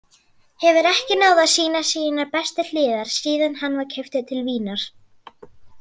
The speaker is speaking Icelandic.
Hefur ekki náð að sýna sínar bestu hliðar síðan hann var keyptur til Vínar.